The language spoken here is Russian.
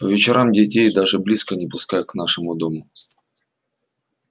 по вечерам детей даже близко не пускают к нашему дому